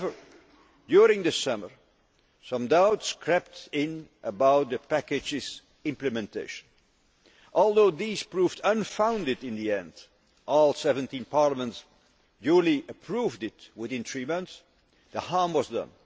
However, during the summer, some doubts crept in about the package's implementation. Although these proved unfounded in the end all 17 parliaments duly approved it within three months the harm was done.